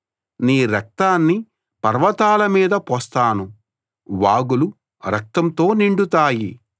నీ రక్తాన్ని పర్వతాల మీద పోస్తాను వాగులు రక్తంతో నిండుతాయి